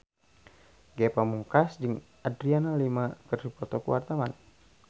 Ge Pamungkas jeung Adriana Lima keur dipoto ku wartawan